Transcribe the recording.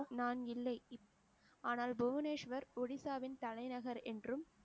நான் இல்லை இப்~ ஆனால் புவனேஸ்வர் ஒடிசாவின் தலைநகர் என்றும்